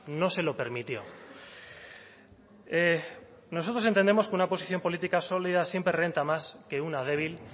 no se lo permitió nosotros entendemos que una posición política sólida siempre renta más que una débil